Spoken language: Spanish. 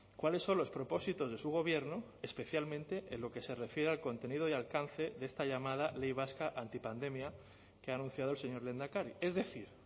cuáles son los propósitos de su gobierno especialmente en lo que se refiere al contenido y alcance de esta llamada ley vasca antipandemia que ha anunciado el señor lehendakari es decir